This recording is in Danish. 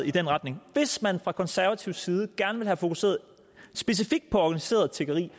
i den retning hvis man fra konservativ side gerne vil have fokuseret specifikt på organiseret tiggeri